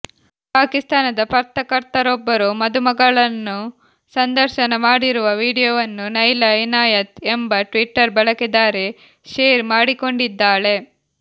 ಪಾಕಿಸ್ತಾನದ ಪತ್ರಕರ್ತರೊಬ್ಬರು ಮದುಮಗಳನ್ನು ಸಂದರ್ಶನ ಮಾಡಿರುವ ವಿಡಿಯೋವನ್ನು ನೈಲಾ ಇನಾಯತ್ ಎಂಬ ಟ್ವಿಟ್ಟರ್ ಬಳಕೆದಾರೆ ಶೇರ್ ಮಾಡಿಕೊಂಡಿದ್ದಾಳೆ